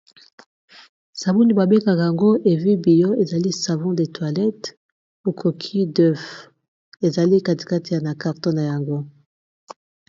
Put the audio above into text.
Sabuni babengaka ngo evi biyo ezali savon de toilette au coquille d'oeuf ezali katikati ya na carton na yango.